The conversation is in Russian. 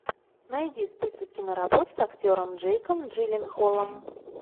найди список киноработ с актером джейком джилленхолом